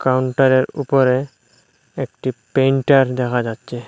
কাউন্টারের উপরে একটি প্রিন্টার দেখা যাচ্চে ।